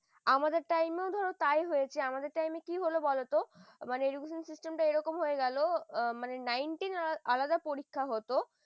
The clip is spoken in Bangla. হ্যাঁ আমাদের time ধরো তাই হয়েছে আমাদের কি হল বলতো মানে education system একম হয়ে গেল nine ten আলাদা পরীক্ষা হতো